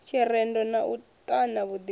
tshirendo na u ṱana vhuḓipfi